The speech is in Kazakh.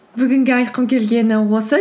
бүгінге айтқым келгені осы